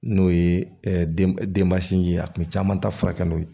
N'o ye denbasinin ye a tun bɛ caman ta furakɛ n'o ye